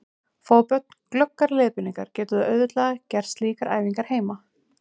Fái börn glöggar leiðbeiningar geta þau auðveldlega gert slíkar æfingar heima.